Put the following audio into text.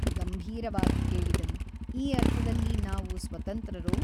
ಗಂಭೀರವಾಗಿ ಕೇಳಿದನು ಈ ಅರ್ಥದಲ್ಲಿ ನಾವು ಸ್ವತಂತ್ರರೋ ?